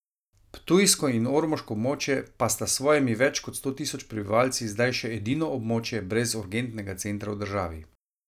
Ptujsko in ormoško območje pa sta s svojimi več kot sto tisoč prebivalci zdaj še edino območje brez urgentnega centra v državi.